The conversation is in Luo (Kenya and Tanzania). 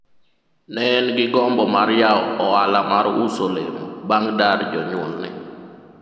ne en gi gombo mar yawo ohala mar uso olemo bang' dar jonyuolne